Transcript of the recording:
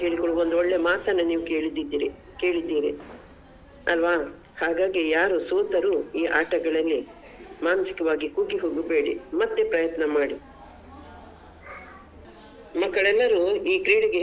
ಮಾತನ್ನು ನೀವು ಕೇಳಿದ್ದಿದ್ದೀರಿ ಕೇಳಿದ್ದೀರಿ ಅಲ್ವಾ ಹಾಗಾಗಿ ಯಾರು ಸೋತರು ಈ ಆಟಗಳಲ್ಲಿ ಮಾನಸಿಕವಾಗಿ ಕುಗ್ಗಿ ಹೋಗ್ಬೇಡಿ ಮತ್ತೆ ಪ್ರಯತ್ನ ಮಾಡಿ ಮಕ್ಕಳೆಲ್ಲರು ಈ ಕ್ರೀಡೆಗೆ ಹೆಚ್ಚಿನ.